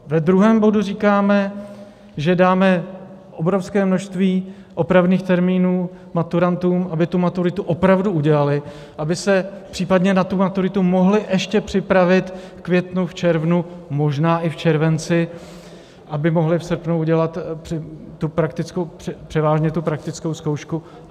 Ve druhém bodu říkáme, že dáme obrovské množství opravných termínů maturantům, aby tu maturitu opravdu udělali, aby se případně na tu maturitu mohli ještě připravit v květnu, v červnu, možná i v červenci, aby mohli v srpnu udělat převážně tu praktickou zkoušku.